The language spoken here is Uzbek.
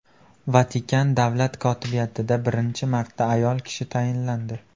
Vatikan davlat kotibiyatida birinchi marta ayol kishi tayinlandi.